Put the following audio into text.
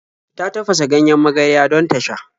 Ta tafasa ganjen magarya don ta sha.